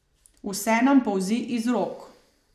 Vse nam polzi iz rok.